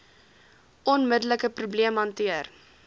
onmiddelike probleem hanteer